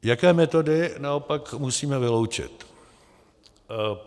Jaké metody naopak musíme vyloučit?